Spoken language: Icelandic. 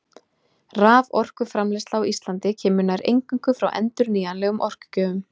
Raforkuframleiðsla á Íslandi kemur nær eingöngu frá endurnýjanlegum orkugjöfum.